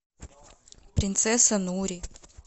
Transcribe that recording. принцесса нури